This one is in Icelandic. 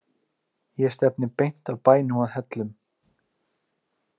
Ég stefni beint að bænum að Hellum.